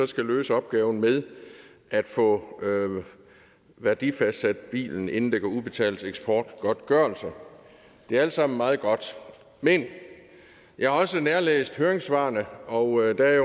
skal løse opgaven med at få værdisat bilen inden der kan udbetales eksportgodtgørelse det er alt sammen meget godt men jeg har også nærlæst høringssvarene og der er